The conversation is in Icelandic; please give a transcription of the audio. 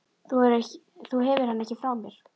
Þú hefur hann ekki frá mér.